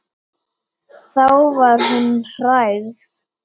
Þá var hún hrærð.